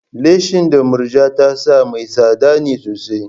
Leshin da Murja ta sa mai tsada ne sosai.